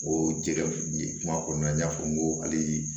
O jɛgɛ kuma kɔnɔna na n y'a fɔ n ko hali